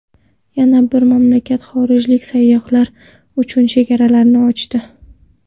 Yana bir mamlakat xorijlik sayyohlar uchun chegaralarini ochdi.